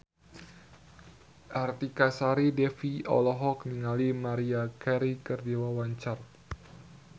Artika Sari Devi olohok ningali Maria Carey keur diwawancara